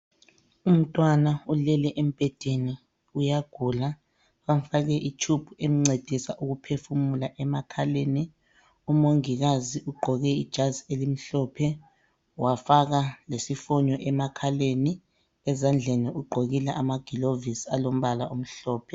Umntwana ulele embhedeni, uyagula, bamfake itshubhu emncedisa ukuphefumula emakhaleni. Umongikazi ugqoke ijazi elimhlophe, wafaka lesifonyo emakhaleni, ezandleni ugqokile amagilovisi alombala omhlophe.